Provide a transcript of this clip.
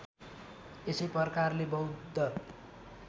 यसै प्रकारले बौद्ध